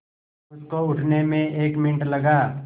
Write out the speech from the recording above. उसको उठने में एक मिनट लगा